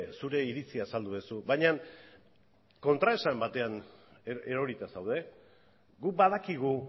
zure iritzia azaldu duzu baina kontraesan batean erorita zaude guk badakigu